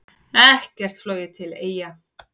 Ekkert flogið til Eyja